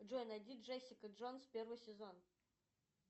джой найди джессика джонс первый сезон